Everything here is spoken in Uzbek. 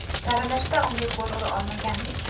Saralashda unga gol ura olmagandik.